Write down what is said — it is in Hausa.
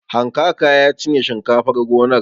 Hankaka ya cinye shinkafar gonar.